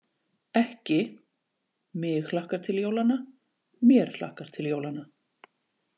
Ekki: mig hlakkar til jólanna, mér hlakkar til jólanna.